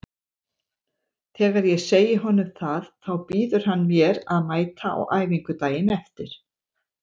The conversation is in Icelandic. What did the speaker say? Þegar ég segi honum það þá býður hann mér að mæta á æfingu daginn eftir.